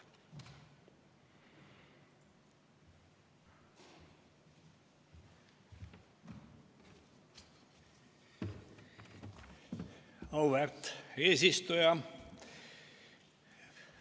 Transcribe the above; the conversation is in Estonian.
Auväärt eesistuja!